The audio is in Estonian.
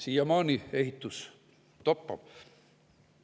Siiamaani ehitus toppab.